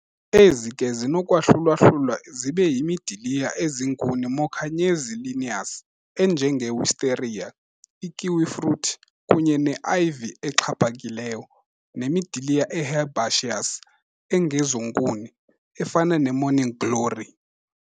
Ezi ke zisenokwahlulwa-hlulwa zibe yimidiliya eziinkuni mokanye ezii-lianas, enjenge-wisteria, i-kiwifruit, kunye ne-ivy exhaphakileyo, nemidiliya e-herbaceous, engezonkuni, efana ne-morning glory.